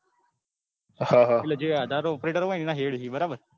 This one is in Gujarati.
હા હા એટલે જે આધાર operator હોય ને એમના head છે બરાબર.